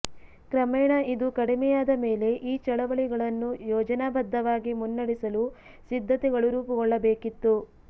ಕ್ರಮೇಣ ಇದು ಕಡಿಮೆಯಾದ ಮೇಲೆ ಈ ಚಳವಳಿಗಳನ್ನು ಯೋಜನಾಬದ್ಧವಾಗಿ ಮುನ್ನಡೆಸಲು ಸಿದ್ಧತೆಗಳು ರೂಪುಗೊಳ್ಳಬೇಕಿತ್ತು